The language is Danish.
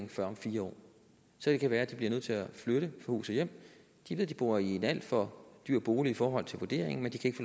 før om fire år så det kan være de bliver nødt til at flytte fra hus og hjem de ved de bor i en alt for dyr bolig i forhold til vurderingen men de kan ikke